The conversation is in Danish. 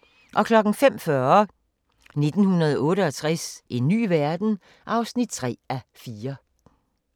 05:40: 1968 – en ny verden? (3:4)